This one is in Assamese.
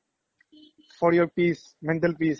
for your peace, mental peace